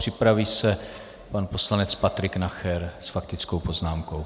Připraví se pan poslanec Patrik Nacher s faktickou poznámkou.